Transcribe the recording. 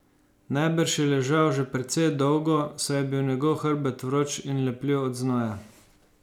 Najbrž je ležal že precej dolgo, saj je bil njegov hrbet vroč in lepljiv od znoja.